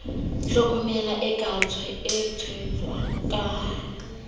tlhokomela e ka tshehetswang ka